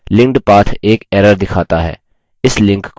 linked path एक error दिखाता है